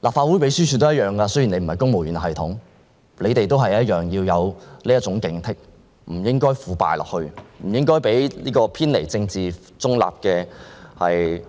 立法會秘書處人員的情況也一樣，雖然他們不屬公務員系統，但同樣要有警惕之心，不應腐敗下去，不應讓偏離政治中立原則的